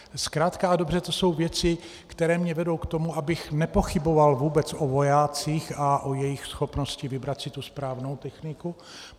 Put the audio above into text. Zkrátka a dobře to jsou věci, které mě vedou k tomu, abych nepochyboval vůbec o vojácích a o jejich schopnosti vybrat si tu správnou techniku.